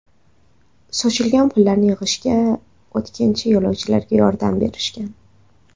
Sochilgan pullarni yig‘isha o‘tkinchi yo‘lovchilar yordam berishgan.